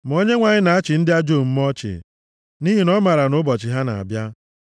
ma onyenwe anyị na-achị ndị ajọ omume ọchị, nʼihi na ọ maara na ụbọchị ha na-abịa.